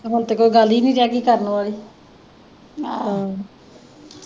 ਹੁਣ ਤੇ ਕੋਈ ਗੱਲ ਈ ਨਹੀਂ ਰਹਿ ਗਈ ਕਰਨ ਵਾਲੀ